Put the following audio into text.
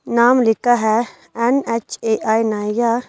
नाम लिखा है एन_एच_ए_आई नाया।